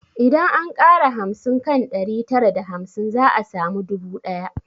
Idan an ƙara hamsin kan ɗari tara da hamsin za a samu dubu ɗaya